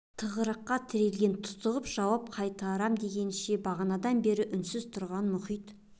тығырыққа тірелген тұтығып жауап қайтарам дегенше бағанадан бері үнсіз түнерген мұхит